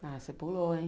Ah, você pulou, hein?